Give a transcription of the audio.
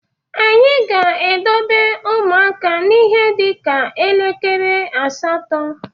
Anyị ga-edobe ụmụaka n’ihe dị ka elekere asatọ